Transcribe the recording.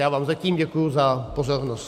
Já vám zatím děkuji za pozornost.